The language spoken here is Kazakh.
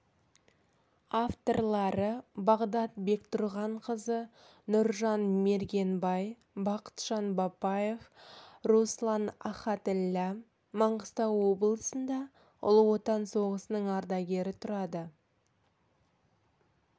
авторлары бағдат бектұрғанқызы нұржан мергенбай бақытжан бапаев руслан ахатіллә маңғыстау облысында ұлы отан соғысының ардагері тұрады